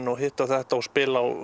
og hitt og þetta og spila á